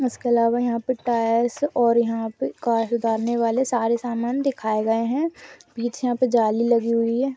इसके अलावा यह पर टायर्स यह पर डालने वाले सारे सामान दिखाए गए है पीछे यह पर जाली लगी हुई।